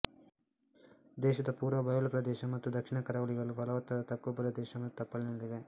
ದೇಶದ ಪೂರ್ವ ಬಯಲು ಪ್ರದೇಶ ಮತ್ತು ದಕ್ಷಿಣ ಕರಾವಳಿಗಳು ಫಲವತ್ತಾದ ತಗ್ಗು ಪ್ರದೇಶ ಮತ್ತು ತಪ್ಪಲಿನಲ್ಲಿವೆ